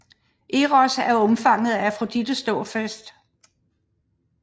Eros er undfanget ved Afrodites dåbsfest